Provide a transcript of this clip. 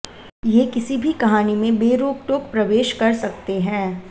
ये किसी भी कहानी में बेरोकटोक प्रवेश कर सकते हैं